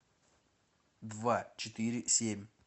два четыре семь